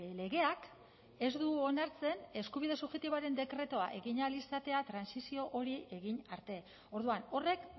legeak ez du onartzen eskubide subjektiboaren dekretua egin ahal izatea trantsizio hori egin arte orduan horrek